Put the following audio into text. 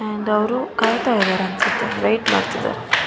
And ಕೈತ ಇದ್ದಾರೆ ಅನ್ಸುತ್ತೆ ವೇಟ್ ಮಾಡ್ತಾ ಇದ್ದಾರೆ.